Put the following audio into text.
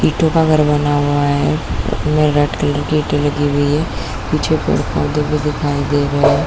ईटों का घर बना हुआ है जिसमें व्हाइट कलर की ईट्टे लगी हुई है पीछे पेड़ - पौधे भी दिखाई दे रहै हैं।